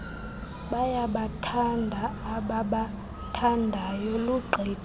bayabathanda abaabathandayo lugqithe